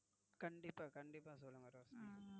கண்டிப்பா கண்டிப்பா சொல்லுங்க ரோஷினி.